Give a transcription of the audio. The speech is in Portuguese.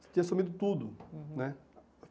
Tinha sumido tudo. Uhum. Né